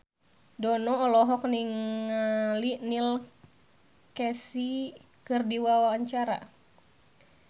Dono olohok ningali Neil Casey keur diwawancara